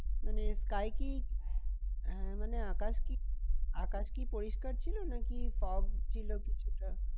মানে sky কি হ্যাঁ মানে আকাশ কি আকাশ কি পরিষ্কার ছিল নাকি fog ছিল কিছুটা?